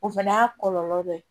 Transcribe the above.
O fɛnɛ y'a kɔlɔlɔ dɔ ye